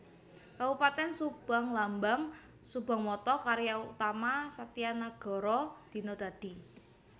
Kabupatèn SubangLambang SubangMotto Karya Utama Satya Nagara Dina Dadi